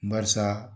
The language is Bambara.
Barisa